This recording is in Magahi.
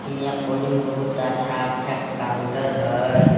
हियाँ पजून बहुत अच्छा अच्छा काउंटर हई।